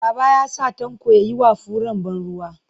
Baba ya sa Tanko ya yi wa furen ban ruwa.